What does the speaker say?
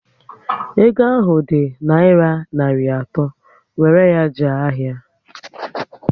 Ego ahụ ọ dị naira narị atọ, wéré ya jee ahịa!